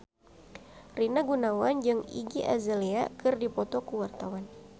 Rina Gunawan jeung Iggy Azalea keur dipoto ku wartawan